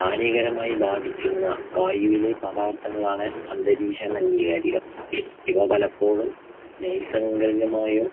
ഹാനികരമായി ബാധിക്കുന്ന വായുവിലെ പദാർത്ഥങ്ങളാണ് അന്തരീക്ഷ മലിനീകാരിക. ഇവ പലപ്പോഴും നൈസർഗികമായോ